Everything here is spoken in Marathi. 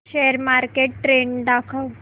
शेअर मार्केट ट्रेण्ड दाखव